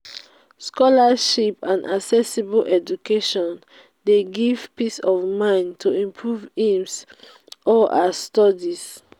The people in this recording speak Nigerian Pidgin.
scholarship and accessible education de give peace of mind to improve his or her studies